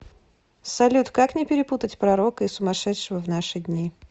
салют как не перепутать пророка и сумашедшего в наши дни